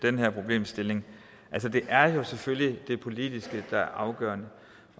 den her problemstilling det er selvfølgelig det politiske der er afgørende